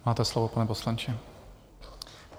Máte slovo, pane poslanče.